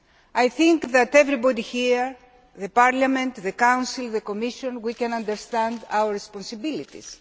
I think that everybody here Parliament, the Council, and the Commission can understand our responsibilities.